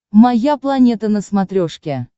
моя планета на смотрешке